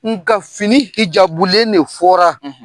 Nka fini Hijabu len ne fɔra;